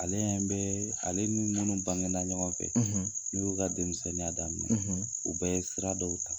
Ale ɲɛ bɛ ale niunu bangena ɲɔgɔn fɛ n'u y'o ka denmisɛnninya daminɛ u bɛ ye sira dɔw ta.